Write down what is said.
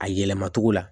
A yɛlɛma togo la